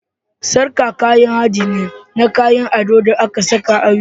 Sarƙa kayan haɗi ne na kayan ado da ake sawa a wuya.